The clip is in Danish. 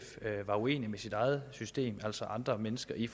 var uenig med sit eget system altså andre mennesker i